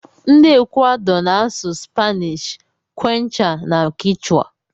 Ndi equador na asụ spainish, quechua, ma kichwa.